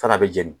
Fana bɛ jeni